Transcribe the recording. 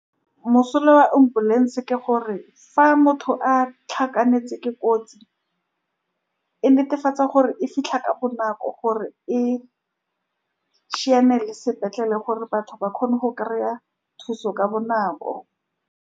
Mosola wa ambulance ke gore, fa motho a tlhakanetse ke kotsi, e netefatsa gore e fitlha ka bonako, gore e sepetlele, gore batho ba kgone go kry-a thuso ka bonako.